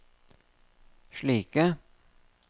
slike